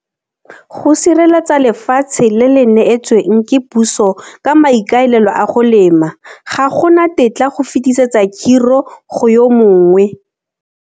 Go sireletsa lefatshe le le neetsweng ke puso ka maikaelelo a go lema, ga go na tetla go fetisetsa khiro go yo mongwe.